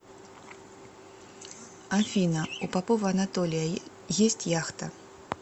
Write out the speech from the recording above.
афина у попова анатолия есть яхта